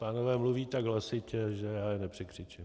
Pánové mluví tak hlasitě, že já je nepřekřičím...